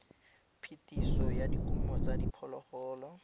phetiso ya dikumo tsa diphologolo